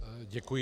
Děkuji.